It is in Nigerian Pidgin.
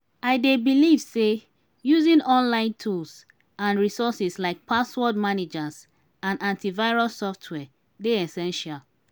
i dey believe say using online tools and resources like password managers and antivirus software dey essential.